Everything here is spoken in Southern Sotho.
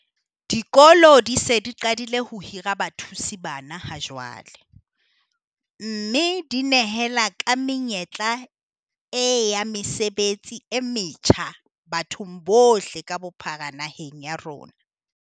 Dikolo di se di qadile ho hira bathusi bana ha jwale, mme di nehela ka menyetla e ya mesebetsi e metjha bathong bohle ka bophara naheng ya rona.